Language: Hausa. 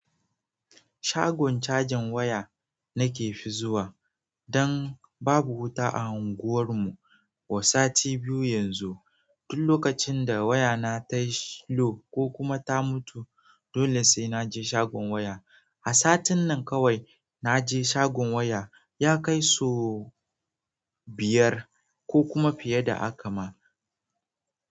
Shagon cajin waya nake fi zuwa dan babu wuta a unguwarmu ko sati biyu yanzu. Duk lokacin da wayana tayi low ko kuma ta mutu, dole sai naje shagon waya. A satin nan kawai naje shagon waya ya kai sau biyar ko kuma fiye da haka ma.